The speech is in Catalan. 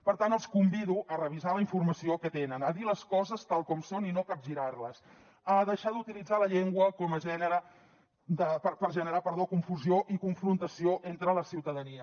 per tant els convido a revisar la informació que tenen a dir les coses tal com són i no a capgirar les a deixar d’utilitzar la llengua per generar confusió i confrontació entre la ciutadania